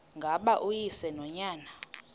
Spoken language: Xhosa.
ngaba uyise nonyana